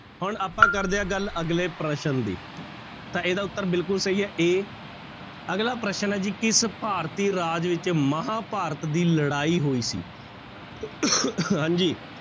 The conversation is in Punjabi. ਹੁਣ ਆਪਾਂ ਕਰਦੇ ਹਾਂ ਗੱਲ ਅਗਲੇ ਪ੍ਰਸ਼ਨ ਦੀ ਤਾਂ ਇਹਦਾ ਉੱਤਰ ਬਿਲਕੁਲ ਸਹੀ ਹੈ a ਅਗਲਾ ਪ੍ਰਸ਼ਨ ਹੈ ਜੀ ਕਿਸ ਭਾਰਤੀ ਰਾਜ ਵਿੱਚ ਮਹਾਂਭਾਰਤ ਦੀ ਲੜਾਈ ਹੋਈ ਸੀ ਹਾਂਜੀ।